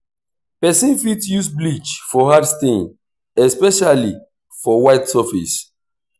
person fit use bleach for hard stain especially for white surface